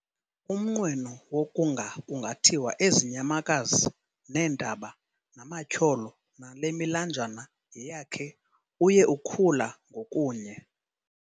Umnqweno wokunga kungathiwa ezi nyamakazi, neentaba, namatyholo nale milanjana yeyakhe, uye ukhula ngokunye.